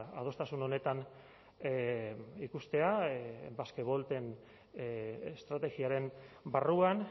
adostasun honetan ikustea basque volten estrategiaren barruan